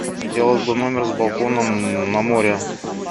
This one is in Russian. хотелось бы номер с балконом на море